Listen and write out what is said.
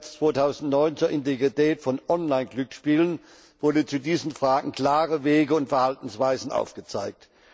10. März 2009 zur Integrität von Online Glücksspielen wurden zu diesen Fragen klare Wege und Verhaltensweisen aufgezeigt.